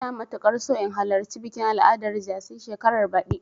Ina matuƙar so in halarci bikin al'adar jaci shekarar baɗi.